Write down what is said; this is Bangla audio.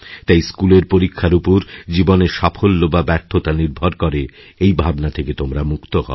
তাই স্কুলের পরীক্ষার উপর জীবনের সাফল্য বা ব্যর্থতা নির্ভর করে এই ভাবনা থেকে তোমরা মুক্ত হও